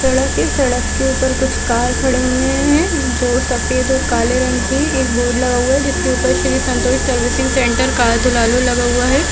सड़क के सड़क के ऊपर कुछ कार खड़े हुए है जो सफ़ेद और काले रंग के है एक बोर्ड लगे हुए है जिसके ऊपर Shri Santosh servicing centre car धुलालो लगा हुआ है।